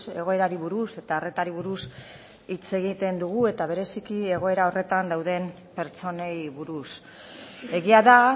egoerari buruz eta arretari buruz hitz egiten dugu eta bereziki egoera horretan dauden pertsonei buruz egia da